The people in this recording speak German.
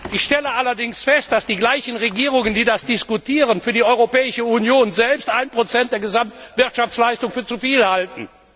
Ich stelle allerdings auch fest, dass die gleichen Regierungen, die das diskutieren, für die Europäische Union selbst ein Prozent der Gesamtwirtschaftsleistung für zu viel halten.